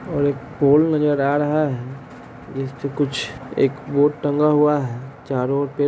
और एक पोल नजर आ रहा है जिस पे कुछ एक बोर्ड टंगा हुआ है चारों और पेड़ --